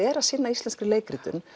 er að sinna íslenskri leikritum